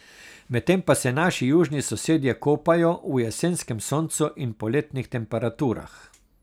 Medtem pa se naši južni sosedje kopajo v jesenskem soncu in poletnih temperaturah.